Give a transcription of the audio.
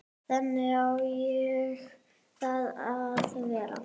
Þannig á það að vera.